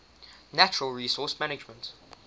natural resource management